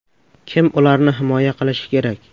Kim ularni himoya qilishi kerak?